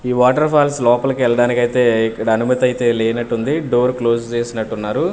ఈ వాటరఫాల్స్ లోపలకి వెళ్ళడానికైతే ఇక్కడ అనుమతైతే లేనట్టుంది డోర్ క్లోజ్ చేసినట్టున్నారు.